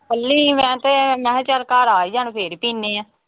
ਕੱਲੀ ਮੈਂ ਤੇ, ਮੈਂ ਕਿਹਾ ਚਲ ਘਰ ਆ ਜਾਣ ਫਿਰ ਪੀਨੇ ਆਂ।